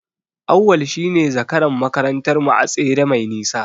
Auwal shine zakaran makarantar mu a tsere mai nisa.